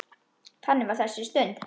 Þannig var þessi stund.